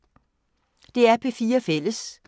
DR P4 Fælles